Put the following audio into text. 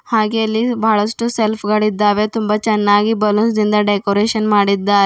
ಹಾಗೇ ಇಲ್ಲಿ ಬಹಳಷ್ಟು ಸೆಲ್ಫ್ ಗಳಿದ್ದಾವೆ ತುಂಬ ಚೆನ್ನಾಗಿ ಬಲ್ಲೂನ್ಸ್ ನಿಂದ ಡೆಕೋರೇಷನ್ ಮಾಡಿದ್ದಾ --